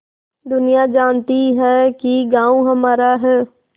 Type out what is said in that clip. दुनिया जानती है कि गॉँव हमारा है